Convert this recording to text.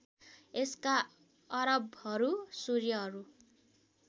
यसका अरबहरू सूर्यहरू